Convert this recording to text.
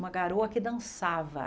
Uma garoa que dançava.